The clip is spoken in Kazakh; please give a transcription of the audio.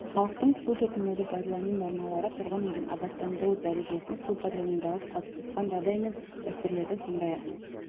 халықтың су тұтынуды пайдалану нормалары тұрғын үйдің абаттандыру дәрежесін су пайдаланудағы қалыптасқан жағдай мен дәстүрлерді сондай-ақ